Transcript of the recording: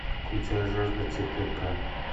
включай жажда четырка